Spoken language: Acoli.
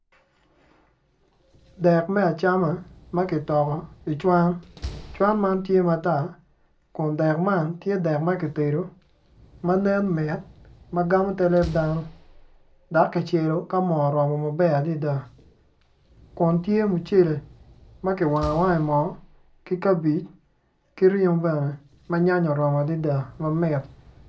Dek me acama makitoko i cwan, cwan man tye matar kun dek man tye dek makitedo ma nen mit magamo ter leb dano dok kicelo ka mo oromo maber adada kun tye mucel makiwango awanga maber adada ki kabej ki ringo bene ma nyanya oromo maber adada mamit.